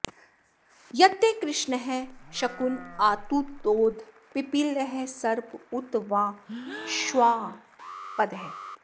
यत्ते कृष्णः शकुन आतुतोद पिपीलः सर्प उत वा श्वापदः